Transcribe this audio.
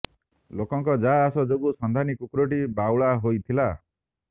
ଲୋକଙ୍କ ଯା ଆସ ଯୋଗୁଁ ସନ୍ଧାନୀ କୁକୁରଟି ବାଉଳା ହୋଇଥିଲା